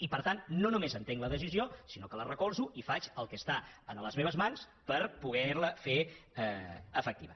i per tant no només entenc la decisió sinó que la recolzo i faig el que és a les meves mans per poder la fer efectiva